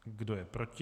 Kdo je proti?